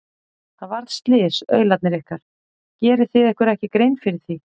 Það varð slys, aularnir ykkar, gerið þið ykkur ekki grein fyrir því?